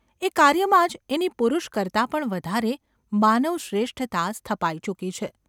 એ કાર્યમાં જ એની પુરુષ કરતાં પણ વધારે માનવશ્રેષ્ઠતા સ્થપાઈ ચૂકી છે.